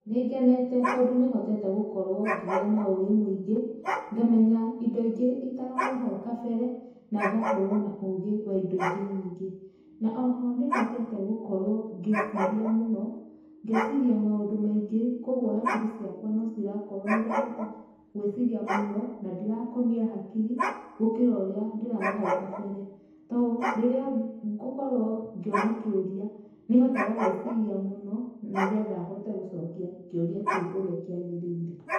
Nĩngenete tondũ nĩhotete gũkorwo ngĩgĩa na ũgĩ mũingĩ, ngamenya indo ingĩ itaroĩ hau kabere na ngakorwo na ũgĩ wa indo ingĩ nyingĩ. Na oho nĩhotete gũkorwo ngĩciria mũno, ngeciria maũndũ maingĩ kwogwo hakiri ciakwa no cirakorwo nĩ irahota gwĩciria mũno, na ndirakomia hakiri gũkĩra ũrĩa ndĩrarĩ hau gabere. To rĩrĩa ngũkorwo ngĩona kĩũria, nĩhotaga gwĩciria mũno nĩgetha hote gũcokia kĩũria kĩu ũrĩa kĩagĩrĩire.